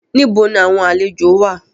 Níbo ni àwọn àlejòó wà?